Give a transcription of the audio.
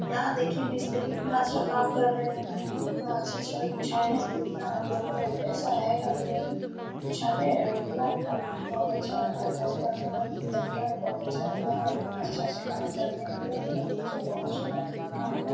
यहा देखिये मिस्त्री इतना अच्छा काम कर रहे है इतना अच्छा छड़ बिछाया है की इतना हम लोग का ऐसा आएगा भी नहीं। बिछाने। और इन लोग का क्वालिटी बहुत अच्छा रहता है काम करने का तरीका भी बहुत अच्छा रहता है इतना अच्छा अच्छा काम करते है ये लोग की मत पूछिए बहुत सुंदर से भी काम कर --